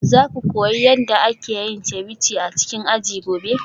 Za ku koyi yadda ake yin ceviche a cikin aji gobe?